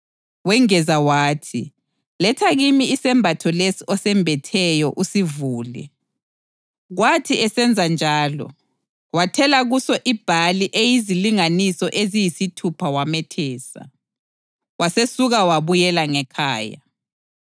Wengeza wathi, “Letha kimi isembatho leso osembetheyo usivule.” Kwathi esenzenjalo, wathela kuso ibhali eyizilinganiso eziyisithupha wamethesa. Wasesuka wabuyela ngekhaya.